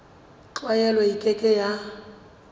tlwaelo e ke ke ya